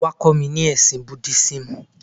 Wá, kó mi nípa ẹ̀sìn Búdísímù.